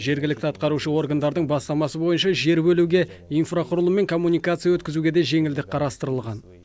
жергілікті атқарушы органдардың бастамасы бойынша жер бөлуге инфрақұрылым мен коммуникация өткізуге де жеңілдік қарастырылған